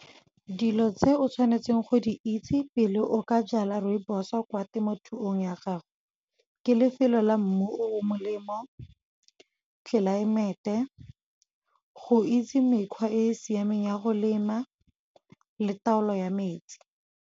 Dilo tse o tshwanetseng go di itse pele o ka jala rooibos o kwa temothuong ya gago. Ke lefelo la mmu o molemo, tlelaemete, go itse mekgwa e e siameng ya go lema le taolo ya metsi.